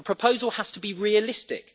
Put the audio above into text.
A proposal has to be realistic.